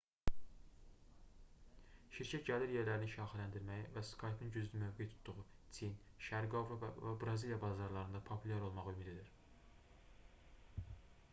şirkət gəlir yerlərini şaxələndirməyi və skype-ın güclü mövqe tutduğu çin şərqi avropa və braziliya bazarlarında populyar olmağı ümid edir